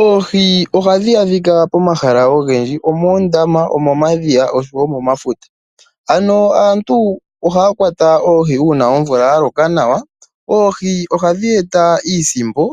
Oohi ohadhi adhika pomahala ogendji, omoondama, omomadhiya oshowo momafuta. Ano aantu ohaya kwata oohi uuna omvula ya loka nawa. Oohi ohadhi e ta iisimpo